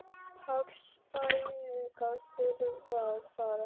Páll: Spæling að þurfa að fara heim?